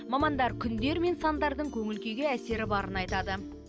мамандар күндер мен сандардың көңіл күйге әсері барын айтады